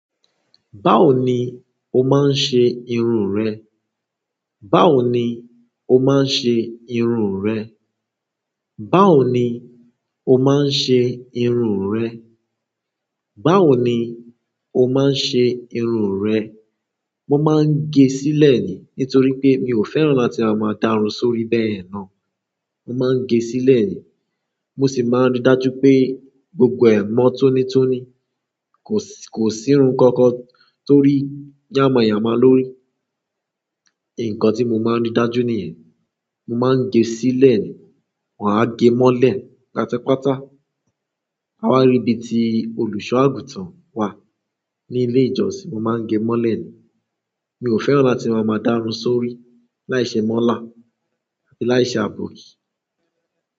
Báwo ni o máa ń ṣe irun rẹ? Báwo ni o máa ń ṣe irun rẹ? Báwo ni o máa ń ṣe irun rẹ? Báwo ni o máa ń ṣe irun rẹ? Mo maa n ge sile ni nítorí pe mio fẹ́ràn láti wa maa ta omi sórí bayen na. Mo máa ń gẹ sílẹ̀ nìí. Mo sì máa ń rí dájú pé gbogbo ẹ̀ mọ́ tónítóní kò sí, kò sí irun kankan tó rí yàmáyàmá lórí. Ǹkan tí mo máa ń rí dájú nìyẹn. Mo máa ń gẹ sílẹ̀ nìí. Maa ge mole pátápátá a wa ri bi ti oluso àgùntàn wa ni ile ìjósìn. Mo máa ń gẹ mọ́lẹ̀ nìí. Mi ò fẹ́ràn láti máa máa darun sórí láìṣe mọ́là àbí láìṣe àbòki.